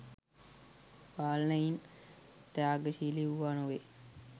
පාලනයින් ත්‍යාගශීලී වූවා නොවේ.